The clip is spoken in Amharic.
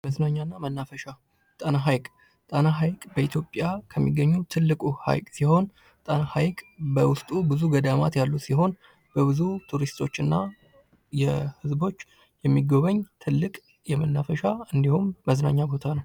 መዝናኛና መናፈሻ ጣና ሐይቅ፡- ጣና ሀይቅ በኢትዮጵያ ከሚገኙ ትልቁ ሐይቅ ሲሆን ፤ ጣና ሀይቅ በውስጡ ብዙ ገዳማት ያሉት ሲሆን በብዙ ቱሪስቶችና ህዝቦች የሚጎበኝ ትልቅ የመናፈሻ እንዲሁም መዝናኛ ቦታ ነው።